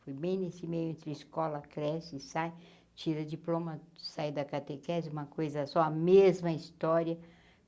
Fui bem nesse meio entre escola, cresce e sai, tira diploma, saí da Catequese, uma coisa só, a mesma história.